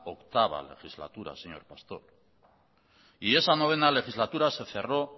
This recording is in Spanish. octava legislatura señor pastor y esa novena legislatura se cerró